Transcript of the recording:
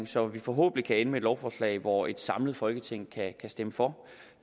så vi forhåbentlig kan ende med et lovforslag hvor et samlet folketing kan stemme for